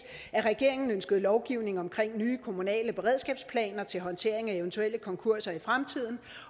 at regeringen ønskede lovgivning omkring nye kommunale beredskabsplaner til håndtering af eventuelle konkurser i fremtiden